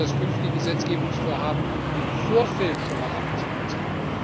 Ich wünsche mir, dass künftige Gesetzgebungsvorhaben im Vorfeld schon einmal abgestimmt sind.